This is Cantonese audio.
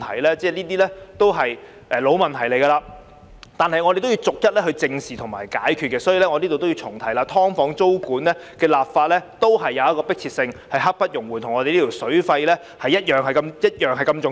這些已經是老問題，我們要逐一正視和解決，所以，我要在此重提，"劏房"租管的立法有迫切性，是刻不容緩的，跟這項與水費有關的《條例草案》同樣重要。